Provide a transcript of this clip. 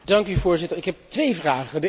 Voorzitter, ik heb twee vragen.